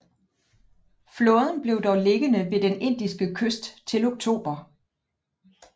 Flåden blev dog liggende ved den indiske kyst til oktober